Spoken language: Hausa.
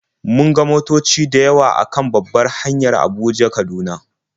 Mun ga motoci da yawa a kan babbar hanya Abuja-Kaduna.